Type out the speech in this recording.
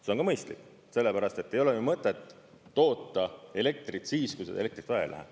See on ka mõistlik, sellepärast et ei ole mõtet toota elektrit siis, kui seda elektrit vaja ei lähe.